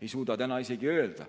ei suuda me täna öelda.